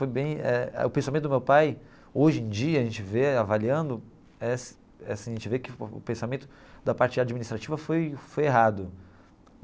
Foi bem eh eh o pensamento do meu pai, hoje em dia, a gente vê, avaliando, eh eh assim a gente vê que o pensamento da parte administrativa foi foi errado.